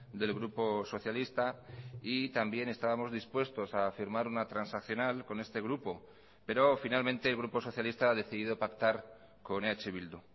del grupo socialista y también estábamos dispuestos a firmar una transaccional con este grupo pero finalmente el grupo socialista ha decidido pactar con eh bildu